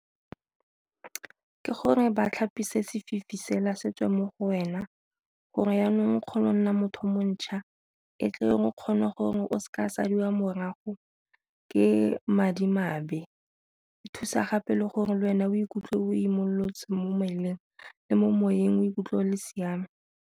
Ke gore ba tlhapise sefifi se tswe mo go wena gore jaanong o kgona go nna motho mo ntšhwa e tle o kgone gore o seke wa sadiwa morago ke madimabe. E thusa gape le gore le wena o ikutlwe o imolotse mo mmeleng le mo moweng o ikutlwe le siame.